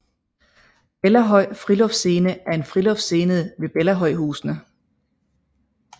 Bellahøj Friluftsscene er en friluftsscene ved Bellahøjhusene